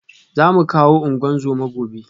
Za mu kawo ungozoma gobe